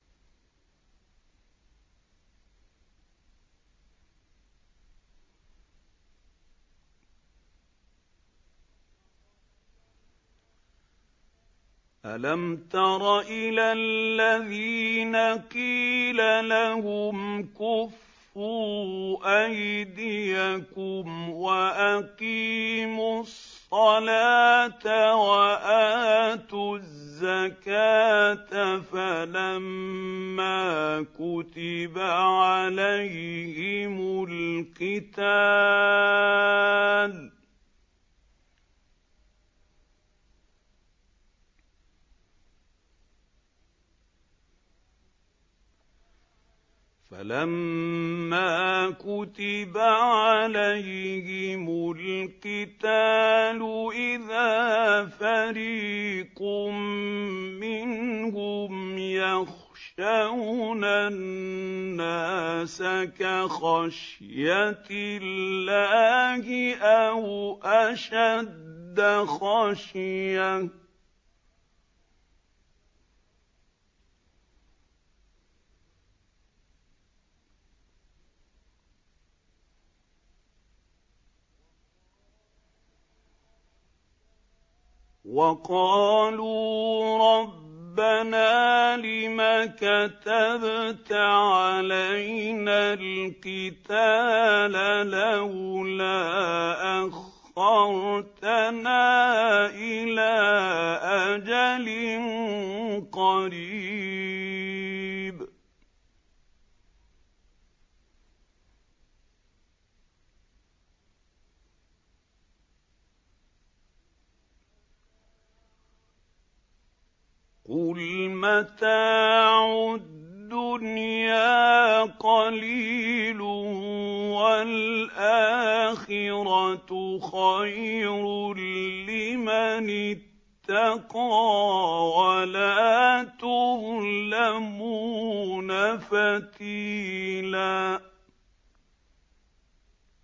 أَلَمْ تَرَ إِلَى الَّذِينَ قِيلَ لَهُمْ كُفُّوا أَيْدِيَكُمْ وَأَقِيمُوا الصَّلَاةَ وَآتُوا الزَّكَاةَ فَلَمَّا كُتِبَ عَلَيْهِمُ الْقِتَالُ إِذَا فَرِيقٌ مِّنْهُمْ يَخْشَوْنَ النَّاسَ كَخَشْيَةِ اللَّهِ أَوْ أَشَدَّ خَشْيَةً ۚ وَقَالُوا رَبَّنَا لِمَ كَتَبْتَ عَلَيْنَا الْقِتَالَ لَوْلَا أَخَّرْتَنَا إِلَىٰ أَجَلٍ قَرِيبٍ ۗ قُلْ مَتَاعُ الدُّنْيَا قَلِيلٌ وَالْآخِرَةُ خَيْرٌ لِّمَنِ اتَّقَىٰ وَلَا تُظْلَمُونَ فَتِيلًا